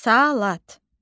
Salat.